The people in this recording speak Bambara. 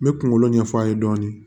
N bɛ kungolo ɲɛf'a ye dɔɔnin